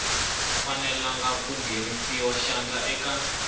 fanele ku nghenisa xandla eka